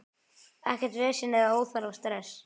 Ekkert vesen eða óþarfa stress.